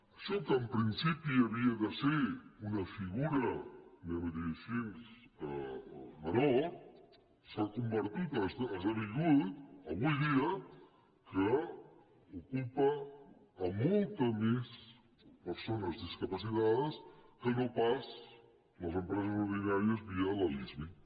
això que en principi havia de ser una fi·gura anem a dir·ho així menor s’ha convertit ha es·devingut avui dia que ocupa moltes més persones discapacitades que no pas les empreses ordinàries via la lismi